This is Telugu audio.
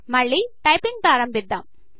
మళ్ళీ టైపింగ్ ప్రారంభిద్దాం